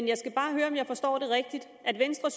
jeg skal bare høre om jeg forstår det rigtigt venstre